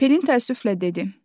Pelin təəssüflə dedi: